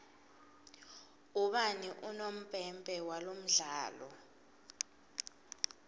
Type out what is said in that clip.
ubani unompempe walomdlalo